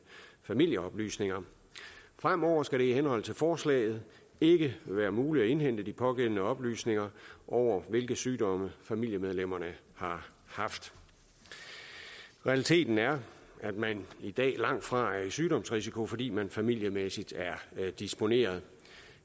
familieoplysninger fremover skal det i henhold til forslaget ikke være muligt at indhente de pågældende oplysninger over hvilke sygdomme familiemedlemmerne har haft realiteten er at man i dag langtfra er i sygdomsrisiko fordi man familiemæssigt er disponeret